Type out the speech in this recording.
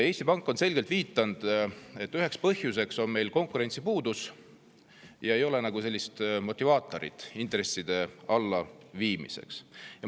Eesti Pank on selgelt viidanud, et üheks põhjuseks on meil konkurentsi puudus: ei ole nagu motivaatorit intresside allaviimiseks.